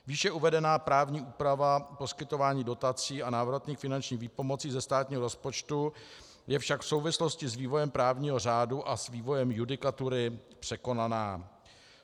Výše uvedená právní úprava poskytování dotací a návratných finančních výpomocí ze státního rozpočtu je však v souvislosti s vývojem právního řádu a s vývojem judikatury překonaná.